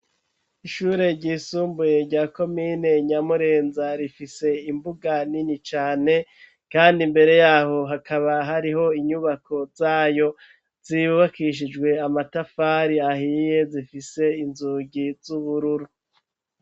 Ishure ry'isumbuye rya komine Nyamurenza rifise imbuga nini cane kandi mbere yaho hakaba hariho inyubako zayo zubakishijwe amatafari ahiye zifise inzugi z'ubururu.